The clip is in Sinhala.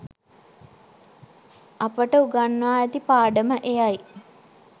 අපට උගන්වා ඇති පාඩම එයයි.